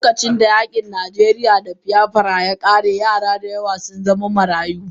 Lokacin da yakin najeriya da biyafra yakare yara dayawa sun zama marayu.